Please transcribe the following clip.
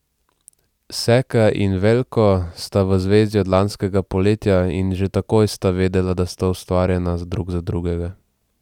Seka in Veljko sta v zvezi od lanskega poletja in že takoj sta vedela, da sta ustvarjena drug za drugega.